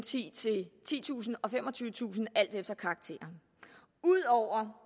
titusind og femogtyvetusind kroner alt efter karakteren ud over